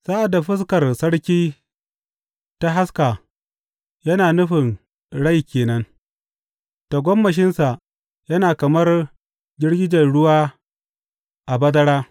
Sa’ad da fuskar sarki ta haska, yana nufin rai ke nan; tagomashinsa yana kamar girgijen ruwa a bazara.